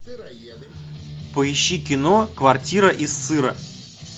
поищи кино квартира из сыра